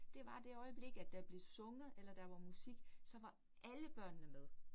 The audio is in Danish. Det var det øjeblik at der blev sunget eller der var musik, så var alle børnene med